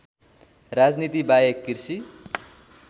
राजनीति बाहेक कृषि